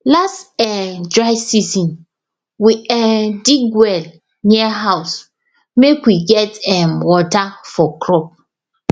last um dry season we um dig well near house make we get um water for crop